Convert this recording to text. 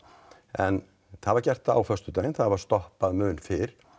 en það var gert á föstudaginn það var stoppað mun fyrr